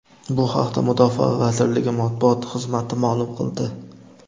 Bu haqda Mudofaa vazirligi matbuot xizmati ma’lum qildi.